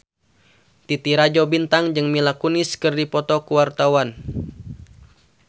Titi Rajo Bintang jeung Mila Kunis keur dipoto ku wartawan